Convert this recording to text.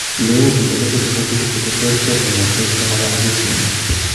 Le uu intellectual disability ko terteren kong'eten che ma yaa akoi kwenet.